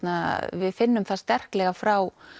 við finnum það sterklega frá